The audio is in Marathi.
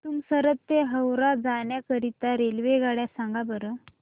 तुमसर ते हावरा जाण्या करीता रेल्वेगाड्या सांगा बरं